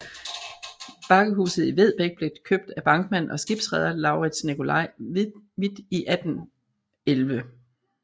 Bakkehuset i Vedbæk blev købt af bankmand og skibsreder LauritzNicolai Hvidt i 1811